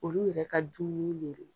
Olu yɛrɛ ka dumuni ne lo.